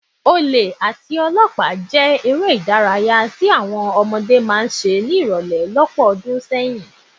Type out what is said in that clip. Olè àti olọ́pàá jẹ́ eré ìdárayá tí àwọn ọmọdé máa ń ṣe ní ìrọ̀lẹ́ lọ́pọ̀ ọdún sẹ́yìn